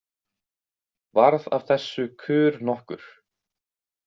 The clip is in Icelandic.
Varð af þessu kurr nokkur.